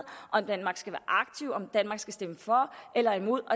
eller aktiv om danmark skal stemme for eller imod